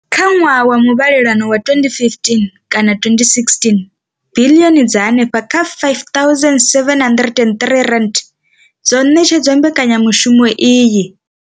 Kha ṅwaha wa muvhalelano wa 2015 kana 2016, biḽioni dza henefha kha R5 703 dzo ṋetshedzwa mbekanyamushumo iyi.